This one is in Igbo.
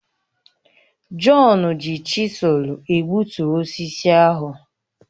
Jọn ji chisụl egbutu osisi ahụ